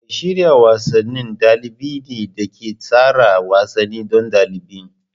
Mai shirya wasanni dalibi ne da ke tsara wasanni don ɗalibin.